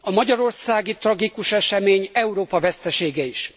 A magyarországi tragikus esemény Európa vesztesége is.